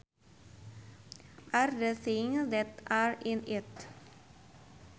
are the things that are in it